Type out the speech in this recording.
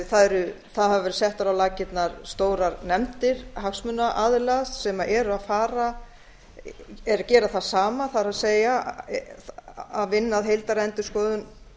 það hafa verið settar á laggirnar stórar nefndir hagsmunaaðila sem eru að gera það sama það er að vinna að heildarendurskoðun